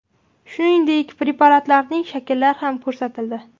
Shuningdek, preparatlarning shakllari ham ko‘rsatildi.